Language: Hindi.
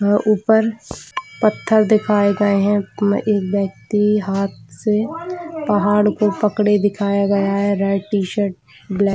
ऊपर पत्थर दिखाए गए है एक व्यक्ति हाथ से पहाड़ को पकड़े दिखाया गया है रेड टीशर्ट ब्लैक --